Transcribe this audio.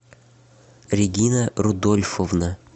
регина рудольфовна